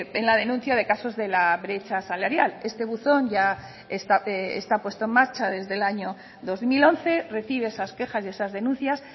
en la denuncia de casos de la brecha salarial este buzón ya está puesto en marcha desde el año dos mil once recibe esas quejas y esas denuncias